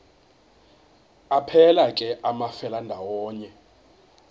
aphelela ke amafelandawonye